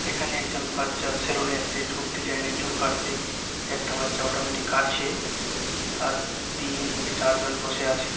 এখানে একজন বাচ্চা সেলুন -এ এসেছে ডিসাইন - এর চুল কাটছে একটা বাচ্চা অটোমেটিক কাটছে আর তিন থেকে চারজন বসে আছে।